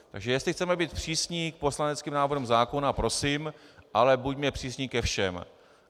Takže jestli chceme být přísní k poslaneckým návrhům zákonů, prosím, ale buďme přísní ke všem.